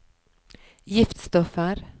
giftstoffer